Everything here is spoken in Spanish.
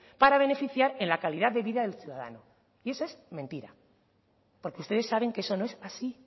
para beneficiar en la calidad de vida del ciudadano y eso es mentira porque ustedes saben que eso no es así